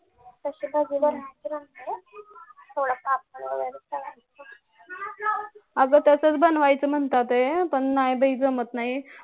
अगं तसाच बनवायचं म्हणत होते पण नाही बाई जमत नाही